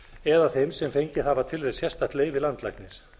eða þeim sem fengið hafa til þess sérstakt leyfi landlæknis